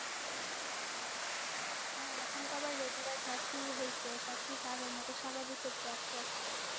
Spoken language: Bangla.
হ্যাঁ এখন তো আবার Regular Class শুরু হয়েছে সবকিছু আগের মতো স্বাভাবিক হচ্ছে, আস্তে আস্তে